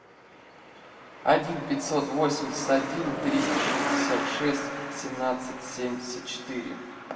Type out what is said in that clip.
один пятьсот восемьдесят один триста шестьдесят шесть семнадцать семьдесят четыре